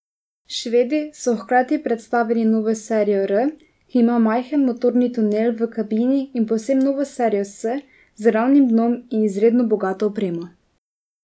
Švedi so hkrati predstavlili novo serijo R, ki ima majhen motorni tunel v kabini in povsem novo serijo S z ravnim dnom in izredno bogato opremo.